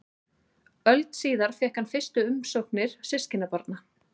Öld síðar fékk hann fyrstu umsóknir systkinabarna.